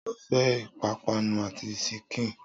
Sọ fẹ́ ìpápánu àti síkìn?